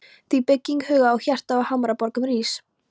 Þú byggðin huga og hjarta á hamraborgum rís.